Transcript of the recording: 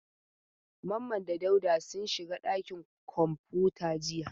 Mamman da Dauda sun shiga ɗakin kwamfuta jiya.